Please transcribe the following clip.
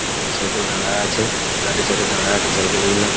অনেক সাইকেল দাড়ায় আছে সাইড -এ সাইড -এ দাড়ায় আছে সাইকেল গুলো।